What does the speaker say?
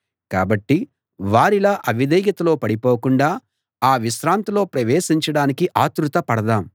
కాబట్టి వారిలా అవిధేయతలో పడిపోకుండా ఆ విశ్రాంతిలో ప్రవేశించడానికి ఆత్రుత పడదాం